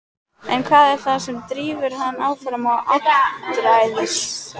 En hvað er það sem drífur hann áfram á áttræðisaldri?